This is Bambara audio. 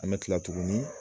An bɛ kila tugunni.